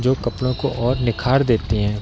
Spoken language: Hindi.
जो कपडों को और निखार देतें हैं।